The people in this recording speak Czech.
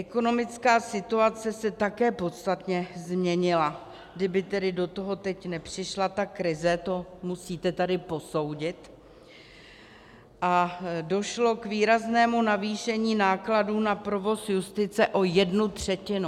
Ekonomická situace se také podstatně změnila - kdyby tedy do toho teď nepřišla ta krize, to musíte tady posoudit - a došlo k výraznému navýšení nákladů na provoz justice o jednu třetinu.